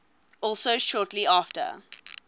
also shortly after